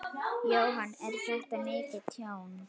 Jóhann: Er þetta mikið tjón?